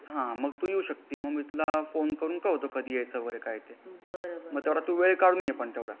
हा मग तू येऊ शकती मग मी तुला कळवतो कधी यायचा ते मग तेवढा तू वेळ काढून ये पण तेवढा .